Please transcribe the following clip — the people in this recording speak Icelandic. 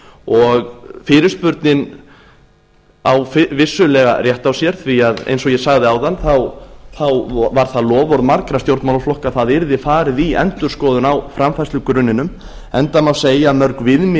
og fyrirspurnin á vissulega rétt á sér því eins og ég sagði áðan var það loforð margra stjórnmálaflokka að það yrði farið í endurskoðun á framfærslugrunninum enda má segja að mörg viðmið